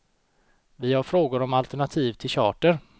Vi har frågor om alternativ till charter.